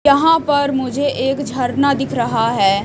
यहां पर मुझे एक झरना दिख रहा है।